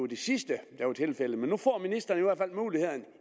det sidste der er tilfældet men nu får ministeren i hvert fald muligheden